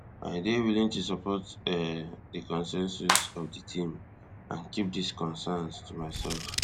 i dey willing to support um di consensus of di team and keep dis concerns to myself